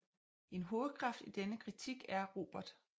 En hovedkraft i denne kritik er Robert A